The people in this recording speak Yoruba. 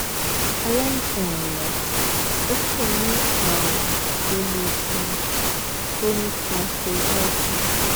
àlaìsàn ọwọn o ti ní àrùn to le ti chronic mastoiditis